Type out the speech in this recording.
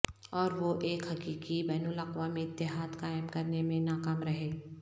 اور وہ ایک حقیقی بین الاقوامی اتحاد قائم کرنے میں ناکام رہے